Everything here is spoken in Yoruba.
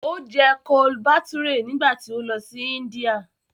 O jẹ Chole Bhature nígbà tí ó lọ sí Índíà